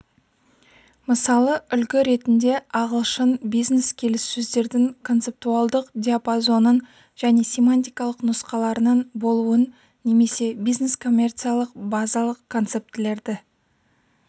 мысалы үлгі ретінде ағылшын бизнес келіссөздердің концептуалдық диапазонын және семантикалық нұсқаларының болуын немесе бизнескоммерциялық базалық концептілерді